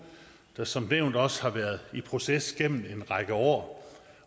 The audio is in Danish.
der som nævnt også har været i proces gennem en række år